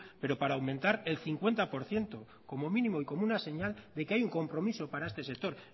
pero para aumentar el cincuenta por ciento como mínimo y como una señal de que hay un compromiso para este sector